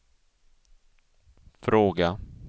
fråga